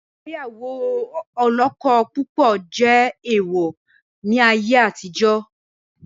Ìgbéyàwó olọ́kọ púpọ̀ jẹ́ èèwọ̀ ni ayé àtijọ́